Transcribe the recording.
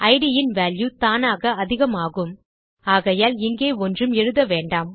it in value தானாக அதிகமாகும் ஆகையால் இங்கே ஒன்றும் எழுத வேண்டாம்